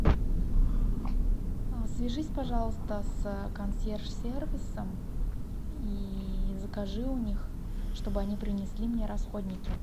свяжись пожалуйста с консьерж сервисом и закажи у них чтобы они принесли мне расходники